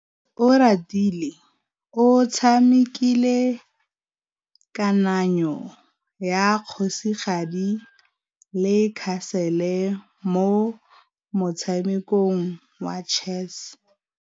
Oratile o tshamekile kananyô ya kgosigadi le khasêlê mo motshamekong wa chess.